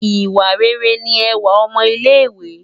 iwá réré ni èwá òmò ilé iwè